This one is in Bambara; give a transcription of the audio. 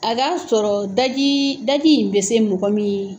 A k'a sɔrɔ daji, daji in bɛ se mɔgɔ min